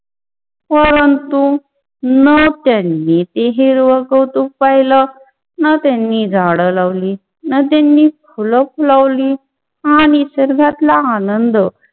परंतु न त्यांनी ती हिराव कौतु पायल, न त्यांनी झाड लावली, न त्यांनी फुल लावली, आणि सर्वातला आनंद